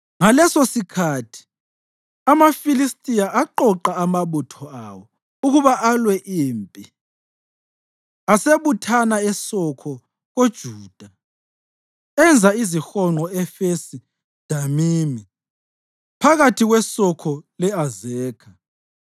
Ngalesosikhathi amaFilistiya aqoqa amabutho awo ukuba alwe impi, asebuthana eSokho koJuda. Enza izihonqo e-Efesi Damimi, phakathi kweSokho le-Azekha.